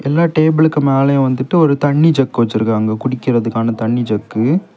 எல்ல டேபிளுக்கு மேலயும் வந்துட்டு ஒரு தண்ணி ஜக் வச்சிருக்காங்க குடிக்கிறதுக்கான தண்ணி ஜக்கு .